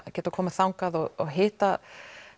að geta komið þangað og hitta